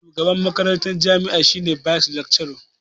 Shugaban makarantar jami'a shi ne "Vice chancellor".